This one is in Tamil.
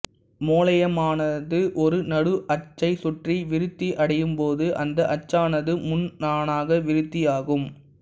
முளையமானது ஒரு நடு அச்சைச் சுற்றி விருத்தியடையும்போது அந்த அச்சானது முண்ணாணாக விருத்தியாகும்